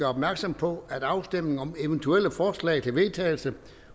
opmærksom på at afstemning om eventuelle forslag til vedtagelse